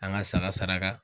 An ka saga saraka